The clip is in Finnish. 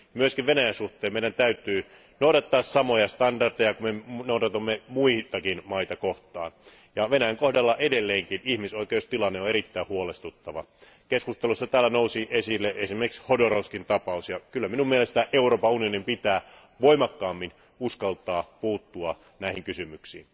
Myös Venäjän suhteen meidän täytyy noudattaa samoja standardeja kuin me noudatamme muitakin maita kohtaan, ja Venäjän kohdalla edelleenkin ihmisoikeustilanne on erittäin huolestuttava. Keskusteluissa täällä nousi esille esimerkiksi Hodorkovskin tapaus ja kyllä minun mielestäni Euroopan unionin pitää voimakkaammin uskaltaa puuttua näihin kysymyksiin.